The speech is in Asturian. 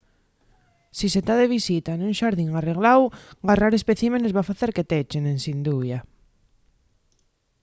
si se ta de visita nun xardín arregláu garrar especímenes” va facer que t’echen ensin dubia